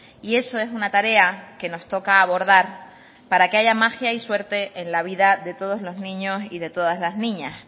y eso es una tarea que nos toca abordar para que haya magia y suerte en la vida de todos los niños y de todas las niñas